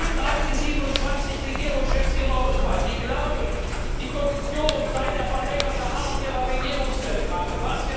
Es gibt auch die 27 Regierungschefs in Europa, die glauben, die Kommission sei der verlängerte Arm ihrer Regierungszentralen.